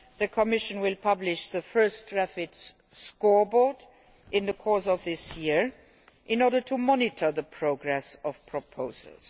The Commission will publish the first REFIT scoreboard in the course of this year, in order to monitor the progress of proposals.